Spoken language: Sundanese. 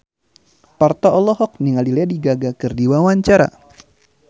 Parto olohok ningali Lady Gaga keur diwawancara